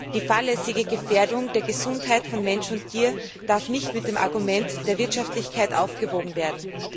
Die fahrlässige Gefährdung der Gesundheit von Mensch und Tier darf nicht mit dem Argument der Wirtschaftlichkeit aufgewogen werden.